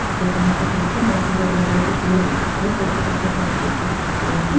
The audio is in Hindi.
सफ़ेद रंग से पेंट है बहुत सारे बड़े-बड़े पेड़ दिखाई दे रहे हैं पेड़ के पत्ते हरे-हरे से दिखाई दे रहे हैं ।